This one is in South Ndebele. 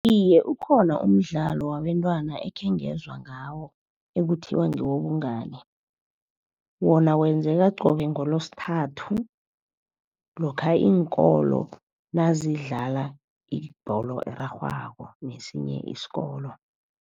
Iye, ukhona umdlalo wabentwana ekhengezwa ngawo ekuthiwa ngewobungani. Wona wenzeka qobe ngolosithathu lokha iinkolo nazidlala ibholo erarhwako nesinye isikolo.